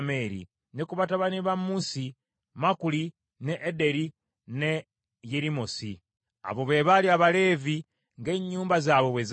Ne ku batabani ba Musi, Makuli, ne Ederi ne Yerimosi. Abo be baali Abaleevi, ng’ennyumba zaabwe bwe zaali.